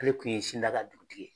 Ale kun ye Sindaga dugutigi ye